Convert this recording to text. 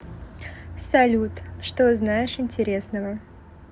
салют что знаешь интересного